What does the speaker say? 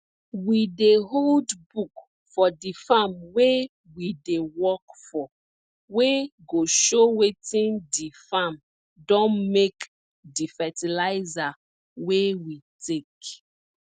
we dey hold book for di farm wey we dey work for wey go show wetin di farm don make di fertilizer wey we take